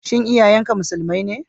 Shin iyayen ka Musulmai ne?